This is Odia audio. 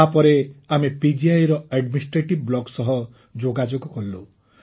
ତା ପରେ ଆମେ ପିଜିଆଇ ର ଆଡମିନିଷ୍ଟ୍ରେଟିଭ୍ ବ୍ଲକ ସହ ଯୋଗାଯୋଗ କଲୁ